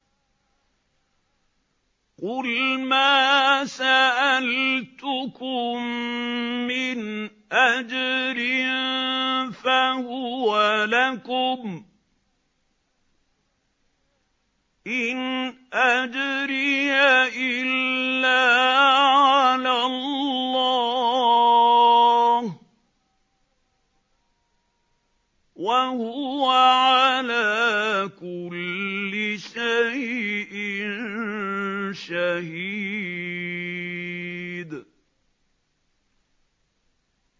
قُلْ مَا سَأَلْتُكُم مِّنْ أَجْرٍ فَهُوَ لَكُمْ ۖ إِنْ أَجْرِيَ إِلَّا عَلَى اللَّهِ ۖ وَهُوَ عَلَىٰ كُلِّ شَيْءٍ شَهِيدٌ